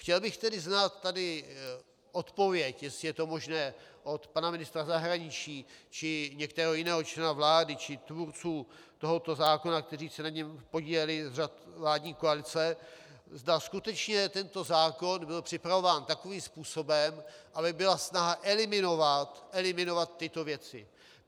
Chtěl bych tedy znát tady odpověď, jestli je to možné, od pana ministra zahraničí či některého jiného člena vlády či tvůrců tohoto zákona, kteří se na něm podíleli z řad vládní koalice, zda skutečně tento zákon byl připravován takovým způsobem, aby byla snaha eliminovat tyto věci.